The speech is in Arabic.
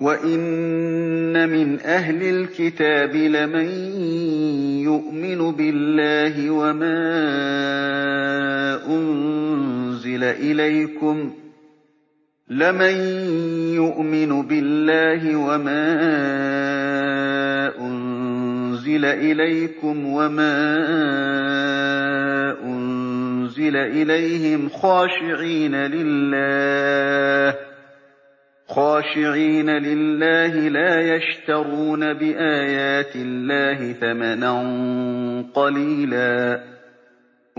وَإِنَّ مِنْ أَهْلِ الْكِتَابِ لَمَن يُؤْمِنُ بِاللَّهِ وَمَا أُنزِلَ إِلَيْكُمْ وَمَا أُنزِلَ إِلَيْهِمْ خَاشِعِينَ لِلَّهِ لَا يَشْتَرُونَ بِآيَاتِ اللَّهِ ثَمَنًا قَلِيلًا ۗ